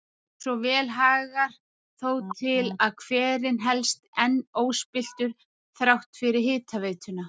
Svo vel hagar þó til að hverinn helst enn óspilltur þrátt fyrir hitaveituna.